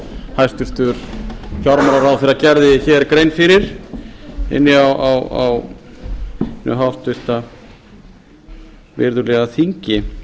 hæstvirtur fjármálaráðherra gerði hér grein fyrir inni á hinu háttvirta virðulegi þingi